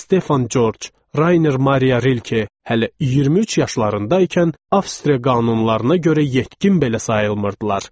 Stefan Corc, Rayner Mariya Rilke, hələ 23 yaşlarında ikən Avstriya qanunlarına görə yetkin belə sayılmırdılar.